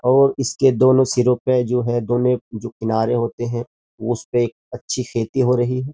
और इसके दोनों सिरे पे जो हैं दोनों जो किनारे होते हैं उसपे अच्छी खेती हो रही हैं।